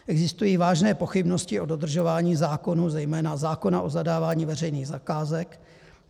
Existují vážné pochybnosti o dodržování zákonů, zejména zákona o zadávání veřejných zakázek.